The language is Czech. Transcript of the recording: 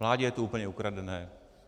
Vládě je to úplně ukradené.